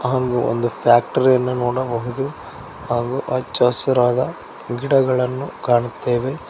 ಹಾಗೂ ಒಂದು ರ್ಫ್ಯಾಕ್ಟರಿ ಅನ್ನು ನೋಡಬಹುದು ಹಾಗೂ ಹಚ್ಚ ಹಸಿರಾದ ಗಿಡಗಳನ್ನೂ ಕಾಣುತ್ತೇವೆ.